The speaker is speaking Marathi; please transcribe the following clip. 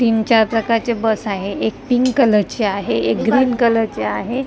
तीन चार प्रकारच्या बस आहेत एक पिंक कलरची आहे एक ग्रीन कलरची आहे .